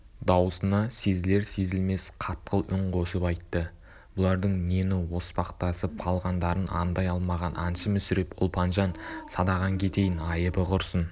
даусына сезілер-сезілмес қатқыл үн қосып айтты бұлардың нені оспақтасып қалғандарын аңдай алмаған аңшы мүсіреп ұлпанжан садағаң кетейін айыбы құрсын